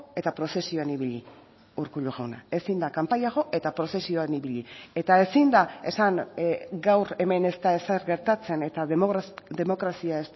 eta prozesioan ibili urkullu jauna ezin da kanpaia jo eta prozesioan ibili eta ezin da esan gaur hemen ez da ezer gertatzen eta demokrazia